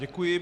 Děkuji.